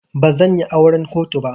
Bazan yi auran kotu ba.